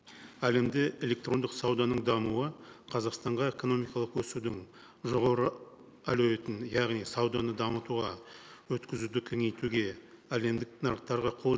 әлемде электрондық сауданың дамуы қазақстанға экономикалық өсудің жоғары әлеуетін яғни сауданы дамытуға өткізуді кеңейтуге әлемдік нарықтарға қол